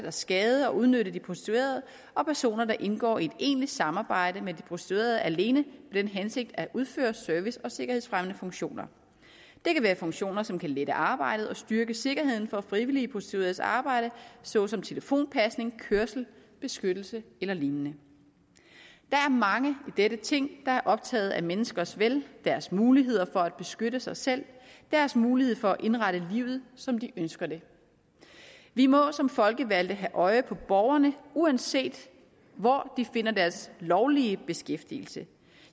at skade og udnytte de prostituerede og personer der indgår i et egentligt samarbejde med de prostituerede alene den hensigt at udføre service og sikkerhedsfremmende funktioner det kan være funktioner som kan lette arbejdet og styrke sikkerheden for frivilligt prostitueredes arbejde såsom telefonpasning kørsel beskyttelse ellign der er mange i dette ting der er optaget af menneskers vel deres mulighed for at beskytte sig selv og deres mulighed for at indrette livet som de ønsker det vi må som folkevalgte have øje for borgerne uanset hvor de finder deres lovlige beskæftigelse